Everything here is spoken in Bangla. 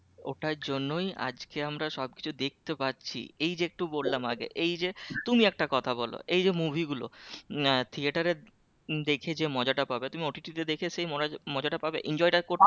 ওটার জন্যই আজকে আমরা সব কিছু দেখতে পাচ্ছি এই একটু বললাম আগে এই যে তুমি একটা কথা বলো এই যো movie গুলো আহ থিয়েটারে দেখে যে মজাটা পাবে তুমি দেখে সেই মজাটা পাবে? enjoy টা করতে পারবে?